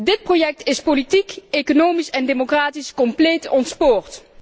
Dit project is politiek, economisch en democratisch compleet ontspoord.